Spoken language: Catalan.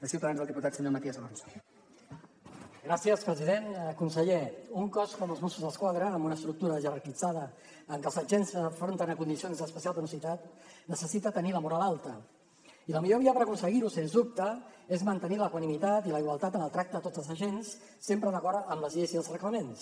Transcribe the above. conseller un cos com els mossos d’esquadra amb una estructura jerarquitzada en què els agents s’enfronten a condicions d’especial perillositat necessita tenir la moral alta i la millor via per aconseguir ho sens dubte és mantenir l’equanimitat i la igualtat en el tracte a tots els agents sempre d’acord amb les lleis i els reglaments